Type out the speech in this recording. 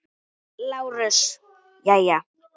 LÁRUS: Jæja!